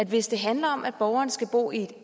hvis det handler om at borgeren skal bo i et